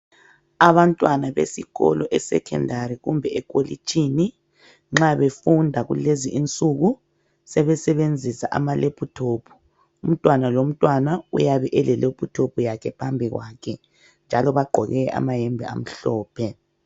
Abantwana besikolo esekhendari kumbe ekolitshini nxa befunda kulezi insuku sebesebenzisa amalephuthophu, umntwana lomntwana uyabe ele lephuthophu yakhe phambi kwakhe njalo bagqoke amayembe amhlophe.